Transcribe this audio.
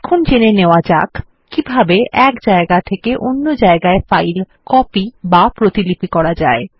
এখন জেনে নেওয়া যাক কিভাবে এক জায়গা থেকে অন্য জায়গায় ফাইল কপি বা প্রতিলিপি করা যায়